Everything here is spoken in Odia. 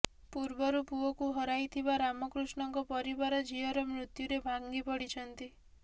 ପୂର୍ବରୁ ପୁଅକୁ ହରାଇଥିବା ରାମକୃଷ୍ଣଙ୍କ ପରିବାର ଝିଅର ମୃତ୍ୟୁରେ ଭାଙ୍ଗିପଡିଛନ୍ତି